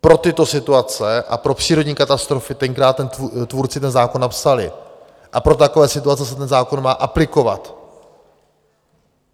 Pro tyto situace a pro přírodní katastrofy tenkrát tvůrci ten zákon napsali a pro takové situace se ten zákon má aplikovat.